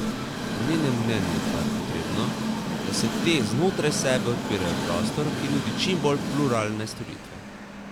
Po njenem mnenju pa je potrebno, da se te znotraj sebe odpirajo v prostor, ki nudi čim bolj pluralne storitve.